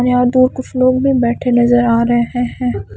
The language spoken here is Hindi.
हम यहां दो कुछ लोग भी बैठे नजर आ रहे हैं।